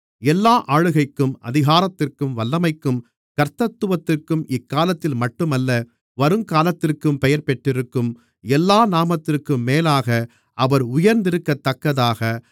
எல்லா ஆளுகைக்கும் அதிகாரத்திற்கும் வல்லமைக்கும் கர்த்தத்துவத்திற்கும் இக்காலத்தில் மட்டுமல்ல வருங்காலத்திற்கும் பெயர்பெற்றிருக்கும் எல்லா நாமத்திற்கும் மேலாக அவர் உயர்ந்திருக்கத்தக்கதாக